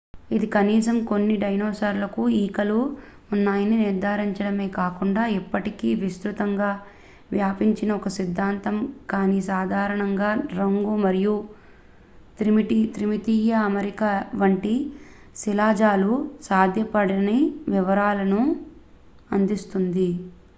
ఇది కనీసం కొన్ని డైనోసార్లకు ఈకలు ఉన్నాయని నిర్ధారించడమే కాకుండా ఇప్పటికే విస్తృతంగా వ్యాపించిన ఒక సిద్ధాంతం కానీ సాధారణంగా రంగు మరియు త్రిమితీయ అమరిక వంటి శిలాజాలు సాధ్యపడని వివరాలను అందిస్తుంది